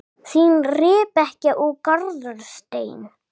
Þín, Rebekka og Garðar Steinn.